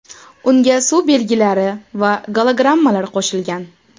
Unga suv belgilari va gologrammalar qo‘shilgan.